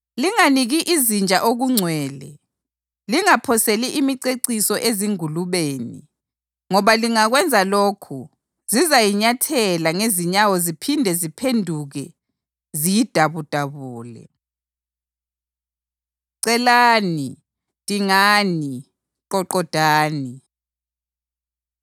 Linganiki izinja okungcwele, lingaphoseli imiceciso ezingulubeni, ngoba lingakwenza lokhu zizayinyathela ngezinyawo ziphinde ziphenduke ziyidabudabule.” Celani, Dingani, Qoqodani